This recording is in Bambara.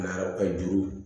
Mara ka juru